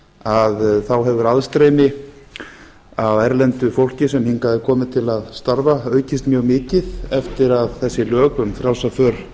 að þá hefur aðstreymi af erlendu fólki sem hingað er komið til að starfa aukist mjög mikið eftir að þessi lög um frjálsa för